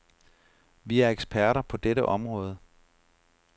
Vi er eksperter på dette område.